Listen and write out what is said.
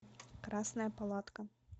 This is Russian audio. красная палатка